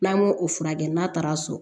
N'an y'o o furakɛ n'a taara so